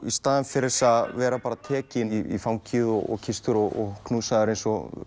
í stað þess að vera tekinn í fangið og kysstur og knúsaður eins og